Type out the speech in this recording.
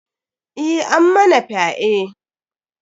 Eh, ammana fyae.